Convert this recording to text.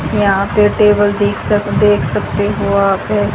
यहां पे टेबल दिख सक देख सकते हो आकर--